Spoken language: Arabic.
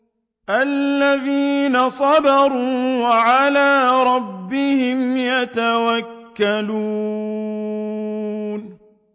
الَّذِينَ صَبَرُوا وَعَلَىٰ رَبِّهِمْ يَتَوَكَّلُونَ